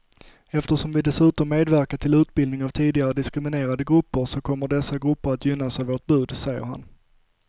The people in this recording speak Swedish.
Eftersom vi dessutom medverkar till utbildning av tidigare diskriminerade grupper så kommer dessa grupper att gynnas av vårt bud, säger han.